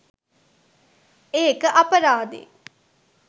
ඒක අපරාදෙ